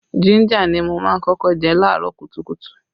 Jínjà ni mo má ń kọ́kọ́ jẹ laarọ kùtùkùtù